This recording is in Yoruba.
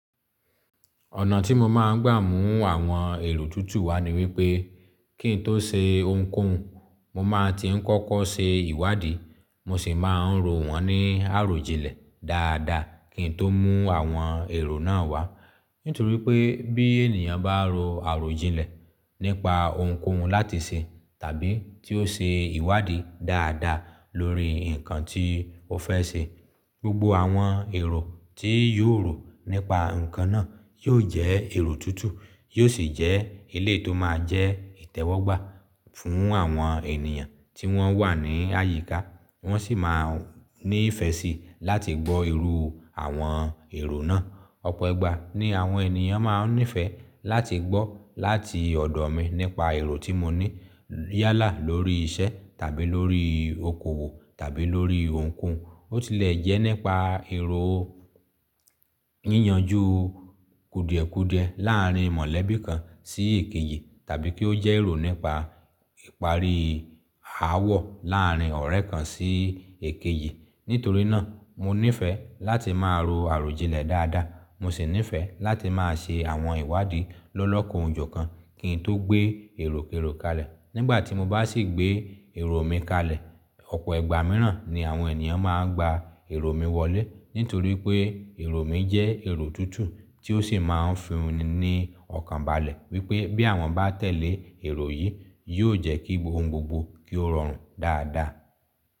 Ọ̀nà tí mo máa ń gbàmú àwọn èrò tútù wá ni wípé kí n tó ṣe ohunkóhun, mo máa ti ń kọ́kọ́ ṣe ìwádìí, mo sì máa ń ro wọ́n ní àròjinlẹ̀ dáadáa kí n tó mú àwọn èrò náà wá. Nítorí pé bí ènìyàn bá ro àròjinlẹ̀ nípa ohunkóhun láti ṣe tàbí tí ó ṣe ìwádìí dáadáa lórí nǹkan tí ó fẹ́ ṣe, gbogbo àwọn èrò tí yóò rò nípa ǹkan náà yó jẹ́ èrò tútù, yóò sì jẹ́ iléyi tó máa jẹ́ ìtẹ́wọ́gbà fún àwọn ènìyàn tí wọ́n wà ní àyíká. Wọ́n sì máa ní ìfẹ́ síi láti gbọ́ irù àwọn èrò náà. Ọ̀pọ̀ igba ní àwọn ènìyàn máa ń nífẹ̀ẹ́ láti gbọ́ láti ọ̀dọ̀ mi nípa èrò tí mo ní yálà lórí iṣẹ́ tàbí lórí okòwò tàbí lórí ohunkóhun. Ó ti le jẹ́ nípa èrò yíyanjú kùdìẹ̀kùdìẹ láàárín mọ̀lẹ́bí kan sí èkejì tàbí kí ó jẹ́ èrò nípa ìparí ááwọ̀ láàárín ọ̀rẹ́ kan sí èkejì. Nítorí náà mo nífẹ̀ẹ́ láti máa ro àròjinlẹ̀ dáadáa, mo sì nífẹ̀ẹ́ láti máa ṣe àwọn ìwádìí lọ́lọ́kò ojo kan kí n tó gbé èròkérò kalẹ̀. Nígbà tí mo bá sì gbé èrò mi kalẹ̀, ọ̀pọ̀ igba mìíràn ni àwọn ènìyàn máa ń gba èrò mi wọlé. Nítorí pé èrò mi jẹ́ èrò tútù tí ó sì máa ń fi ní ni ọkàn balẹ̀ wípé bí àwọn bá tẹ̀lé èrò yìí, yóò jẹ́ kí ohun gbogbo kí ó rọrùn dáadáa.